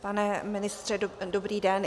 Pane ministře, dobrý den.